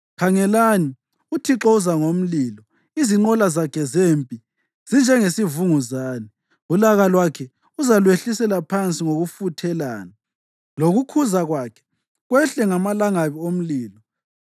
Khangelani, uThixo uza ngomlilo, izinqola zakhe zempi zinjengesivunguzane; ulaka lwakhe uzalwehlisela phansi ngokufuthelana, lokukhuza kwakhe kwehle ngamalangabi omlilo.